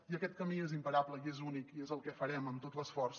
i aquest camí és imparable i és únic i és el que farem amb tot l’esforç